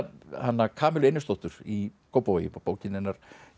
hana Kamillu Einarsdóttur í Kópavogi bókin hennar